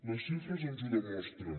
les xifres ens ho demostren